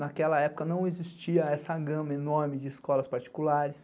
Naquela época não existia essa gama enorme de escolas particulares.